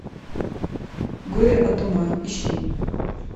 горе от ума ищи